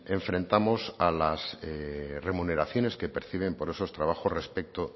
enfrentamos a las remuneraciones que perciben por esos trabajos respecto